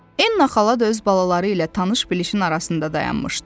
Enna xala da öz balaları ilə tanış bilişin arasında dayanmışdı.